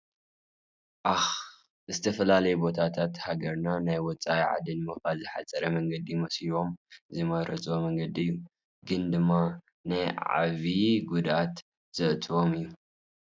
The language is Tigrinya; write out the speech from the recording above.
ኣክ ዝተፈላለየ ቦታትን ሃገርና ና ውፃኢ ዓዲ ንምካድ ዝሓፀረ መንገዲ መስልዎም ዝመርፅዎ መንገዲ እዩ። ግን ድማ ናይ ዓበይቲ ጉድኣታት ዘእትዎም እዩ።